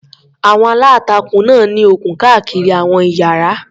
Àwọn aláǹtakùn náà ní okùn káàkiri àwọn ìyára.